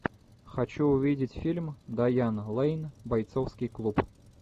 хочу увидеть фильм дайан лейн бойцовский клуб